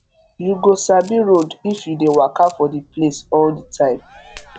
you go sabi road if you dey waka for the place all the time